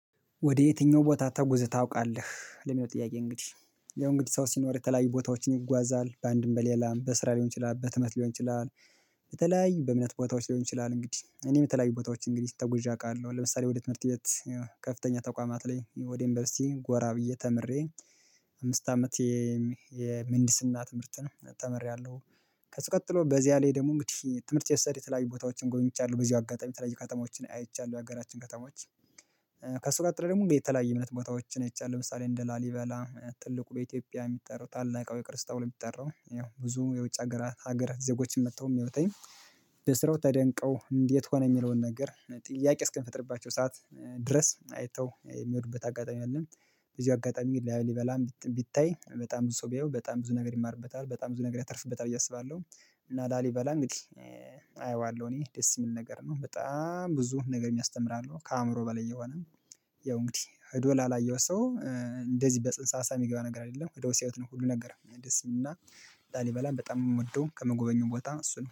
ወደ? የትኛው ቦታ ተጉዝህ ታውቃለህ ለሚለው ጥያቄ እንግዲህ ያው እንግዲህ ሰው ሲኖር የተለያዩ ቦታዎችን ይጓዛል በአንድም በሌላም በስራ ሊሆን ይችላል በትምህርት ሊሆን ይችላል። በተለያዩ በእምነት ቦታዎች ሊሆን ይችላል እንግዲህ እኔ የተለያዪ ቦታዎች እንግዲህ ተጉዤ አውቃለሁ ለምሳሌ ወደ ትምህርት ቤት ከፍተኛ ተቋማት ላይ ወደ ዩንቨርሲቲ ጎራ ብዬ ተምሬ አምስት አመት የምህንድስና ትምህርትን ተምሬያለሁ። ከሱ ቀጥሎ በዚያ ላይ ደግሞ እንግዲህ ትምህርት የሰደኝ የተለያየ ቦታዎችን ጎበኝቻለው በዚህ አጋጣሚ የተለያየ ከተሞችን አይቻለሁ የሀገራችን ከተሞች። ከሱ ቀጥሎ ደግሞ የተለያየ እምነት ቦታዎችን አይቻለሁ ለምሳሌ እንደ ላሊበላ ትልቁ በኢትዮጵያ የሚጠራ ታላቃዊ ቅርስ የሚጠራው ይኸው ብዙ የውጭ ሀገራት ሀገር ዜጎችም መጥተው የሚወጣኝ። በስራው ተደንቀው እንዴት ሆነ የሚለውን ነገር ጥያቄ እስኪፈጥርባቸው ሰዓት ድረስ አይተው የሚሄዱበት አጋጣሚ አለ። በዚህ አጋጣሚ ላሊበላም ቢታይ በጣም ብዙ ሰው ቢያየው በጣም ብዙ ነገር ይማርበታል በጣም ብዙ ነገር ያተርፍበታል ብዬ አስባለሁ። እና ላሊበላ እንግዲህ አየዋለሁ እኔ ደስ የሚል ነገር ነው በጣም ብዙ ነገር የሚያስተምር አለው ከአእምሮ በላይ የሆነ። ያው እንግዲህ ሄዶ ላላየው ሰው። እንደዚህ በፅንሰ ሀሳብ የሚገባ ነገር አይደለም ሄደው ሲያዩት ነው ሁሉ ነገር ደስ የሚለው እና። ላሊበላን በጣም የምወደው ከመጎበኙም ቦታ እሱን